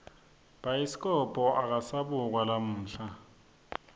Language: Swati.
bhayiskobho akasabukwa lamuhla